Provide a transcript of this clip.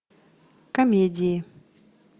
комедии